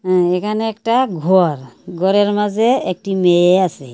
হ্যাঁ এখানে একটা ঘর ঘরের মাঝে একটি মেয়ে আসে।